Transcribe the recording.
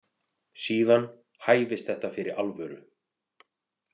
Síðan hæfist þetta fyrir alvöru.